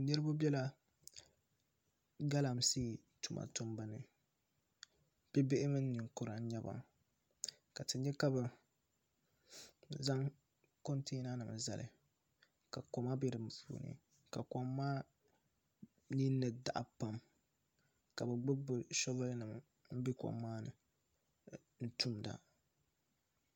Niraba biɛla galamsee tuma tumbu ni bibihi mini ninkura n nyɛba ka ti nya ka bi zaŋ kontɛna nim n zali ka koma bɛ di puuni ka kom maa ninni daɣa pam ka bi gbubi bi shoovul nima n bɛ kom maa ni n tumda